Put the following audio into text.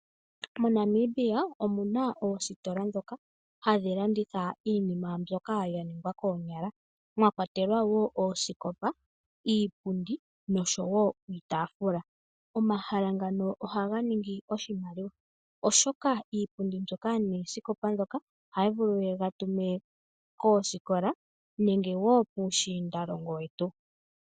MoNamibia omuna oositola ndhoka hadhi landitha iinima mbyoka ya ningwa koonyala mwa kwatelwa wo oosikopa, iipundi noshowo iitaafula. Omahala ngano ohaga ningi oshimaliwa, oshoka iipundi mbyoka noosikopa ndhoka ohaya vulu ye ga tume koosikola nenge wo puushiindalongo wetu.